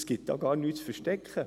Es gibt gar nichts zu verstecken.